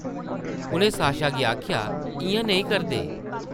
उʼनें साशा गी आखेआ, इʼयां नेईं करदे ।